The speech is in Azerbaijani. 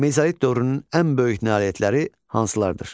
Mezolit dövrünün ən böyük nailiyyətləri hansılardır?